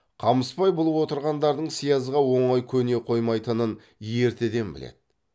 қамысбай бұл отырғандардың сиязға оңай көне қоймайтынын ертеден біледі